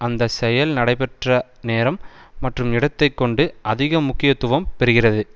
அந்த செயல் நடைபெற்ற நேரம் மற்றும் இடத்தை கொண்டு அதிக முக்கியத்துவம் பெறுகிறது